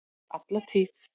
Alla tíð!